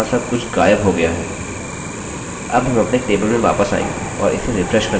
अब हम अपने टेबल में वापस आएँगे और इसे रिफ्रेशrefresh करने के लिए browse पर क्लिक करेंगे